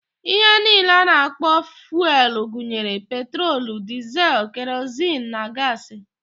Ihe niile a na-akpọ fuelụ gụnyere: petrolu, dịzịl, kerozin na gaasị.